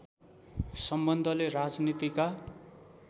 सम्बन्धले राजनीतिका